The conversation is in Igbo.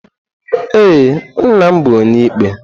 Ee, nna m bụ Onyeikpe.